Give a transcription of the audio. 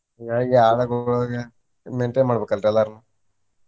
ಹಿಂಗಾಗಿ ಆಳಗೊಳಿಗೆ maintain ಮಾಡ್ಬೇಕಲ್ರಿ ಎಲ್ಲಾರ್ಗು.